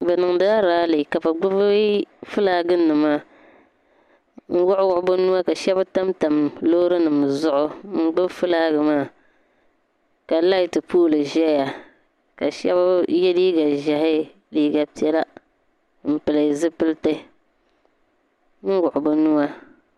Bi niŋdila raale ka bi gbubi fulaaginima luɣili zuɣu ka shabi tamtam lɔɔrinim zuɣu n gbubi fulaagi nim maa. ka laati pooli zɛya kashabi ye liiga zɛhi liiga piɛla n pili zipiliti n wuɣi binuwa.